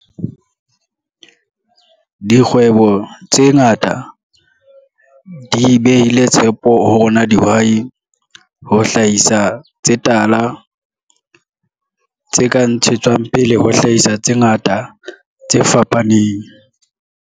Dikgwebo tse ngata di behile tshepo ho rona dihwai, ho hlahisa tse tala, tse ka ntshetswang pele ho hlahisa tse ngata, tse fapaneng.